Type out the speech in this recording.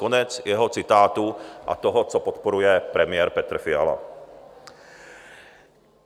Konec jeho citátu a toho, co podporuje premiér Petr Fiala.